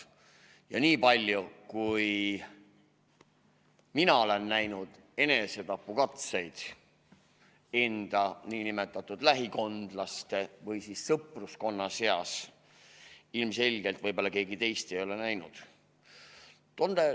Ja nii palju, kui mina olen näinud enesetapukatseid enda lähikondsete või sõpruskonna seas, ilmselt võib-olla keegi teist ei ole näinud.